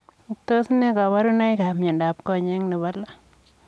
Tos ne kabarunoik ap miondoop konyeek nepoo loo?